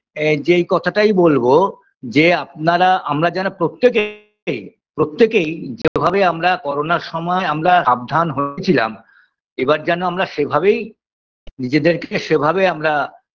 এ যেই কথাটাই বলবো যে আপনারা আমরা যারা প্রত্যেকেই প্রত্যেকেই যেভাবে আমরা করোনার সময় আমরা সাবধান হয়েছিলাম এবার যেন আমরা সেভাবেই নিজেদেরকে সেভাবে আমরা